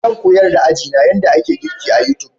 Zan koyar da ajina yadda ake girki a YouTube.